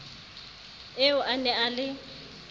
eo a ne a le